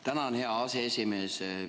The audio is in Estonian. Tänan, hea aseesimees!